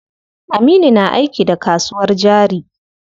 Aminu na aiki da kasuwar jari.